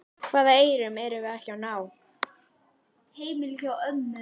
Hvaða eyrum erum við ekki að ná?